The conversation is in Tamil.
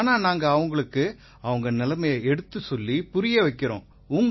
ஆனா நாங்க அவங்களுக்கு அவங்க நிலைமையை எடுத்துச் சொல்லிப் புரிய வைக்கறோம்